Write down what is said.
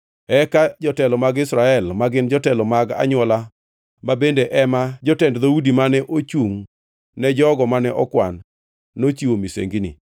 Eka jotelo mag Israel, ma gin jotelo mag anywola ma bende ema jotend dhoudi mane ochungʼ ne jogo mane okwan, nochiwo misengini.